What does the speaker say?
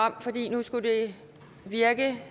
nu skulle det virke